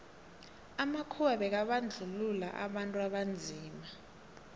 amakhuwa bekabandluua abantu abanzima